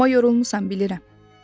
Amma yorulmusan, bilirəm.